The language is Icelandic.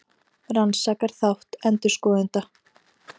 Rannsakar þátt endurskoðenda